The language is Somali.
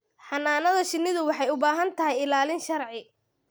Xannaanada shinnidu waxay u baahan tahay ilaalin sharci.